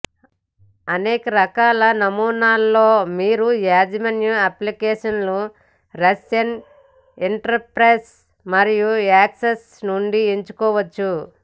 అనేక రకాల నమూనాలు లో మీరు యాజమాన్య అప్లికేషన్లు రష్యన్ ఇంటర్ఫేస్ మరియు యాక్సెస్ నుండి ఎంచుకోవచ్చు